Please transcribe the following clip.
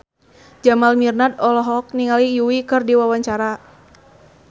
Jamal Mirdad olohok ningali Yui keur diwawancara